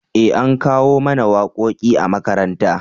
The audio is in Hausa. eh an koya mana waƙoƙi a makaranta